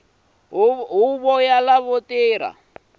huvo ya lava swi va